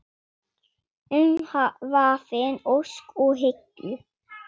Umvafin ósk og hyggju.